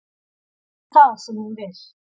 Það er ekki það sem ég vil.